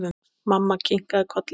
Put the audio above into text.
Mamma kinkaði kolli.